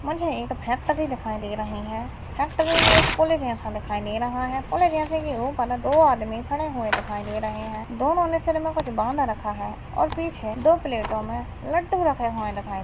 मुझे एक फॅक्टरी दिखाई दे रही है फॅक्टरी में पुलि जैसा दिखाई दे रहा है पुलि में दो आदमी खड़े हुए है दोनों ने सर में कुछ बंद रखा है उनके पीछे दो प्लेटो में लड्डू रखें हुए दिखाई--